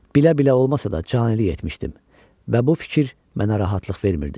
Bilə-bilə olmasa da, canilik etmişdim və bu fikir mənə rahatlıq vermirdi.